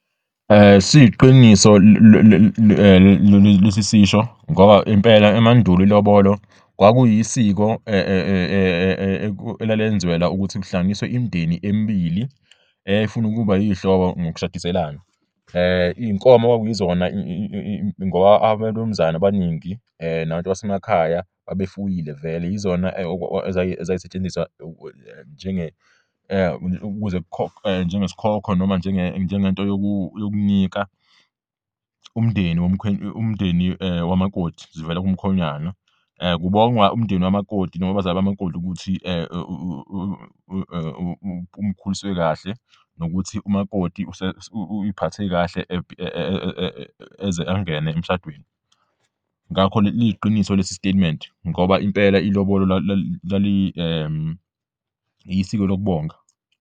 Ilobolo mandulo kwakulisiko olwabe lwenziwa ukuhlanganisa imindeni emibili eyabe ifuna ukuba zihlobo ngokushadiselana. Izinkomo zamaloboloke zimele izipho ezivela kumkhwenyana, lapho ebonga abazali bentombi afuna ukuyithatha ibe ngumfazi.